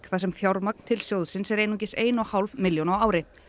þar sem fjármagn til sjóðsins er einungis ein og hálf milljón á ári